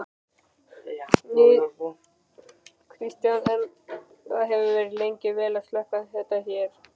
Kristinn: En það hefur gengið vel að slökkva þetta hérna?